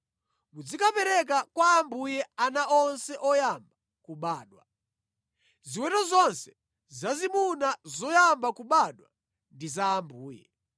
muzikapereka kwa Ambuye ana onse oyamba kubadwa. Ziweto zonse zazimuna zoyamba kubadwa ndi za Ambuye.